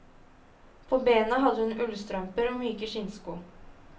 På bena hadde hun ullstrømper og myke skinnsko.